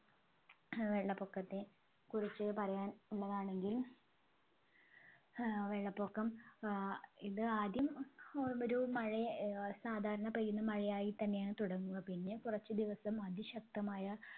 ഏർ വെള്ളപ്പൊക്കത്തെ കുറിച്ച് പറയാൻ ഉള്ളതാണെങ്കിൽ ഏർ വെള്ളപൊക്കം ഏർ ഇത് ആദ്യം ഒ ഒരു മഴ ഏർ സാധരണ പെയ്യുന്ന മഴയയായിത്തന്നെയാണ് തുടങ്ങുക പിന്നെ കുറച്ച് ദിവസം അതിശക്തമായ